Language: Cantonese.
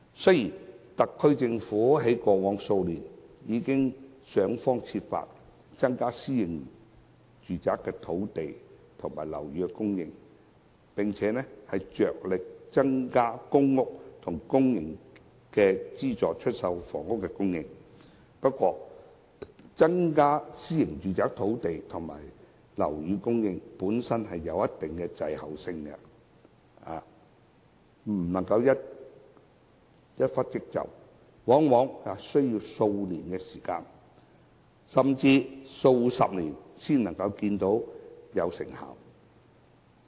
雖然特區政府在過往數年已想方設法開發土地，以增加私人樓宇、公營房屋及資助出售單位的供應，但增加私人樓宇的供應在一定程度上會有所滯後，不可以一蹴即就，往往在數年、甚至數十年後才可以看到成效。